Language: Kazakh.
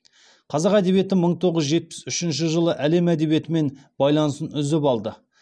қазақ әдебиеті мың тоғыз жүз жетпіс үшінші жылы әлем әдебиетімен байланысын үзіп алды